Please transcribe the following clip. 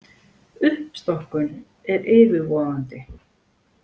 Uppstokkun er yfirvofandi.